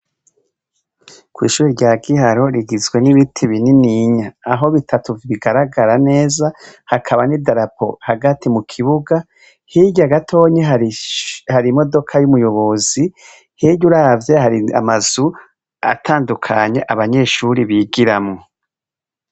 Ku ishuri rya Giharo rigizwe n'ibiti bininiya aho bitatu bigaragara neza hakaba n'idarapo hagati mu kibuga hirya gatonyi hari imodoka y'umuyobozi hirya uravye hari amazu atandukanye abanyeshuri bigiramwo.